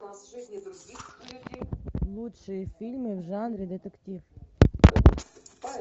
лучшие фильмы в жанре детектив